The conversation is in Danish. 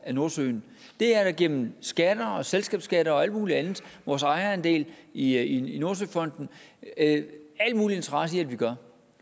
af nordsøen det er der gennem skatter selskabsskatter og alt mulig andet og vores ejerandel i i nordsøfonden al mulig interesse i at vi gør